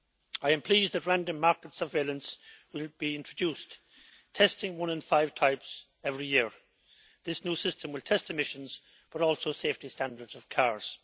I am pleased that random market surveillance will be introduced, testing one in five types every year. This new system will test emissions, but also safety standards of cars.